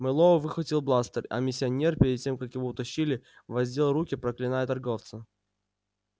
мэллоу выхватил бластер а миссионер перед тем как его утащили воздел руки проклиная торговца